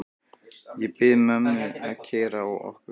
Ég bið mömmu að keyra okkur.